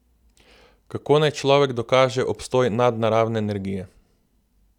Kako naj človek dokaže obstoj nadnaravne energije?